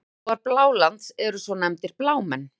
Íbúar Blálands eru svo nefndir Blámenn.